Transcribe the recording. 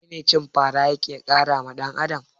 Menene cin fara yake karawa dan Adam?